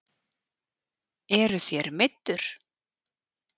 Eruð þér meiddur?